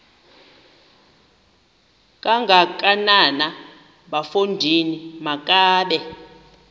kangakanana bafondini makabe